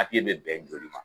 bɛ bɛn joli ma